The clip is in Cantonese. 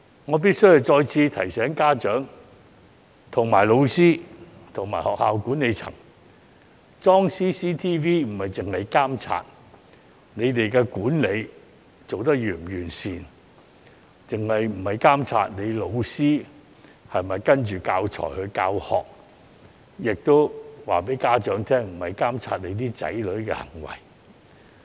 我必須再次提醒家長、老師及學校管理層，安裝 CCTV 不是監察學校管理是否完善，或老師是否依據教材教學，亦想告知家長這不是要監察子女的行為。